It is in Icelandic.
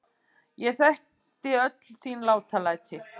Ég þekkti öll þín látalæti.